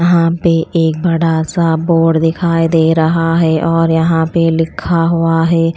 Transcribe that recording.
वहां पे एक बड़ा सा बोर्ड दिखाई दे रहा है और यहां पे लिखा हुआ है।